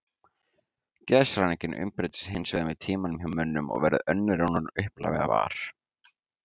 Geðshræringin umbreytist hins vegar með tímanum hjá mönnum og verður önnur en hún upphaflega var.